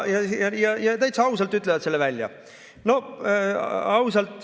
Täitsa ausalt ütlevad selle välja.